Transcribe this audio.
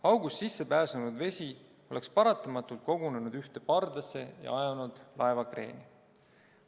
August sisse pääsenud vesi oleks paratamatult kogunenud ühte pardasse ja ajanud laeva kreeni.